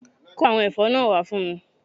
Kó àwọn èfó náà wá fún mi